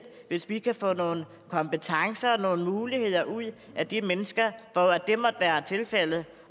hvis vi kan få nogle kompetencer nogle muligheder ud af de mennesker hvor det måtte være tilfældet